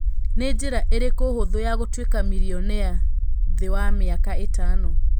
nĩ njĩra ĩrĩkũ hũthu ya gũtuika mirionea thĩ wa mĩaka ĩtano